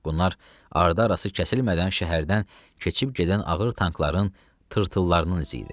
Bunlar arda-arası kəsilmədən şəhərdən keçib gedən ağır tankların tırtıllarının izi idi.